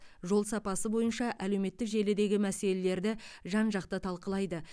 жол сапасы бойынша әлеуметтік желідегі мәселелерді жан жақты талқылайды